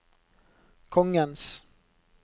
kongens